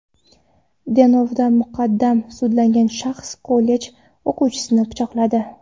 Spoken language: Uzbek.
Denovda muqaddam sudlangan shaxs kollej o‘quvchisini pichoqladi.